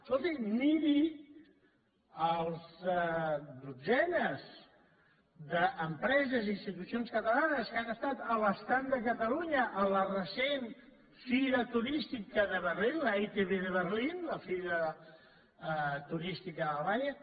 escolti miri les dotzenes d’empreses i institucions catalanes que han estat a l’estand de catalunya a la recent fira turística de berlín la itb de berlín la fira turística d’alemanya